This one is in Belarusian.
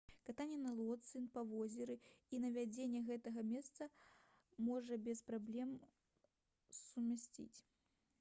катанне на лодцы па возеру і наведванне гэтага месца можна без праблем сумясціць